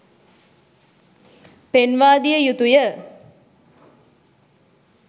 පෙන්වා දිය යුතු ය.